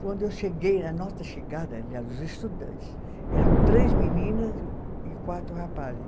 Quando eu cheguei, na nossa chegada, aliás, os estudantes, eram três meninas e e quatro rapazes.